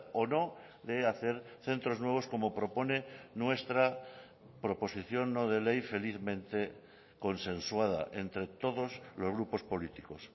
o no de hacer centros nuevos como propone nuestra proposición no de ley felizmente consensuada entre todos los grupos políticos